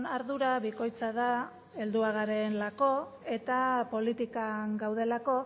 ardura bikoitza da helduak garelako eta politikan gaudelako